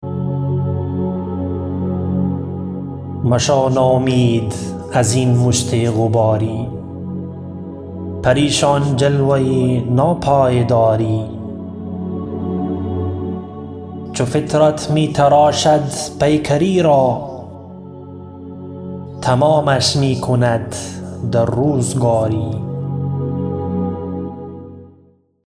مشو نومید ازین مشت غباری پریشان جلوه ناپایداری چو فطرت می تراشد پیکری را تمامش می کند در روزگاری